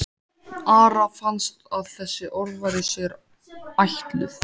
Ara fannst að þessi orð væru sér ætluð.